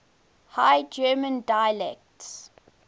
high german dialects